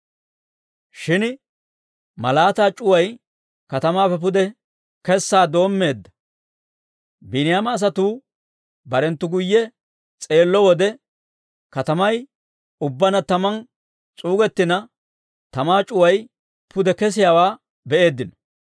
Shin malaataa c'uway katamaappe pude kessaa doommeedda; Biiniyaama asatuu barenttu guyye s'eello wode, katamay ubbaanna tamaan s'uugettina, tamaa c'uway pude kesiyaawaa be'eeddino.